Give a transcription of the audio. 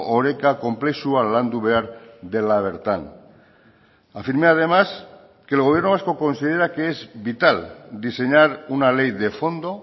oreka konplexua landu behar dela bertan afirmé además que el gobierno vasco considera que es vital diseñar una ley de fondo